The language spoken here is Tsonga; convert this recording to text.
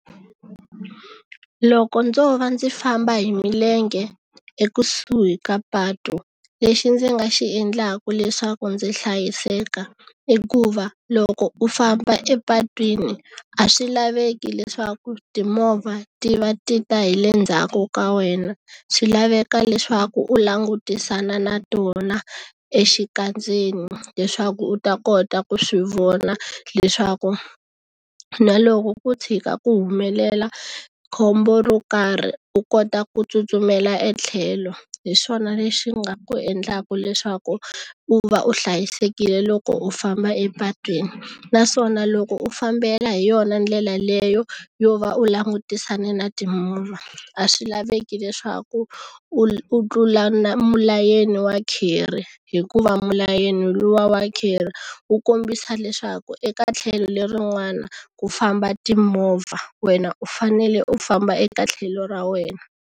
Loko ndzo va ndzi famba hi milenge ekusuhi ka patu lexi ndzi nga xi endlaku leswaku ndzi hlayiseka i ku va loko u famba epatwini a swi laveki leswaku timovha ti va ti ta hi le ndzhaku ka wena swi laveka leswaku u langutisana na tona exikandzeni leswaku u ta kota ku swi vona leswaku na loko ku tshika ku humelela khombo ro karhi u kota ku tsutsumela etlhelo hi swona lexi nga ku endlaku leswaku u va u hlayisekile loko u famba epatwini naswona loko u fambela hi yona ndlela leyo yo va u langutisane na a swi laveki leswaku u tlula na mulayeni wa curry hikuva milayeni luwa wa curry wu kombisa leswaku eka tlhelo lerin'wana ku famba timovha wena u fanele u famba eka tlhelo ra wena.